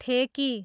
ठेकी